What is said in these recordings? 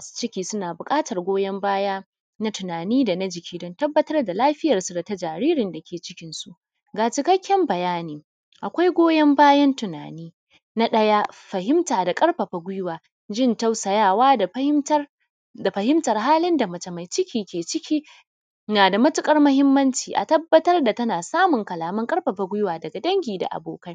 Masu ciki sunada buƙatar goyan baya na tunani dana jiki dan tabbatar da lafiyan su dana jaririn dake cikin su. ga cikakken bayani. Akwai goyon bayan tunani na ɗaya fahimta da ƙarfafa guiwa jin tausayawa da fahimtar halin da mace mai ciki ke ciki nada matuƙar mahimmanci a tabbatar da tana samun haɗin guiwa daga dangi da abokai.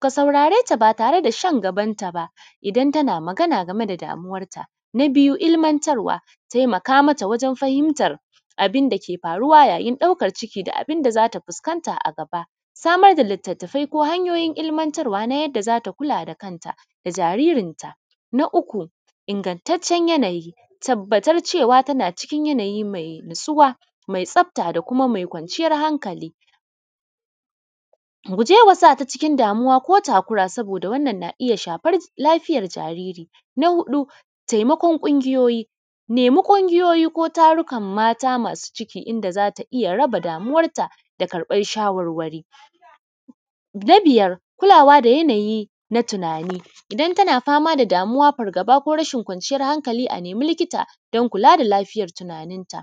Ka saurareta ba tare dashan gabanta ba idan tana Magana. Na biyu ilmantarwa taimaka mata wajen fahimtar abunda ke faruwa yayin ɗaukan ciki, da abunda da abunda zata fuskan ta a gaba samar da litattafai ko hanyaoyin ilmantarwa ta yadda zata koyar da kanta da jaririnta. Na uku ingattaccen yanayi tabbatar cewa tana cikin yanayi mai natsuwa mai tsafta da kuma kwanciyan hankali. Gujema sata cikin damuwa ko takura saboda wannan na iyya shafar lafiyar jariri. Na huɗu taimakon kungiyoyi nemi kungiyoyi ko tarukan masu ciki, yadda zata iyya raba damuwanta da karɓan shawarwari. Kulawa da yanayi na tunani idan tana famada damuwa, fargaba ko rashin kwaciyan hankali a nemi likita dan kulada lafiyar tunanin ta.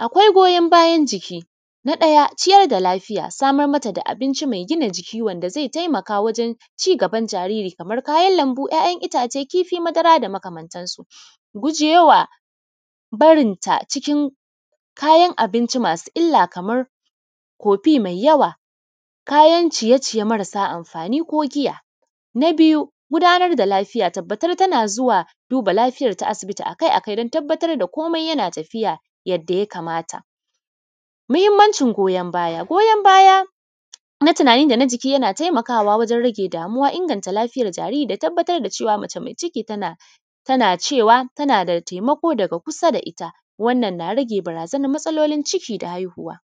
Akwai goyon bayan jiki na ɗaya kula da lafiya samar mata da abinci mai gina jiki wanda zai taimaka wajen cigaban jariri Kaman kayan lambu, ‘ya’ ‘yan’ ittace kifi madara da makamantan su. Gujewa barinta cikin kayan abinci mai Kaman kofi mai yawa Kaman kayan ciye ciye marasa amfani ko giya. Na biyu gudanar da lafiya tabbatar tana zuwa duba lafiyarta asibiti akai akai komai yana tafiya yadda ya kamata. Mahimmancin goyon baya goyon baya na tunani dana jiki yana taimakama wajen rage damuwa inganta lafiyar jariri da tabbatar da cewa mace mai ciki tanada taimako daga kusa da itta wannan na rage barazanar matsalolin ciki da haihuwa.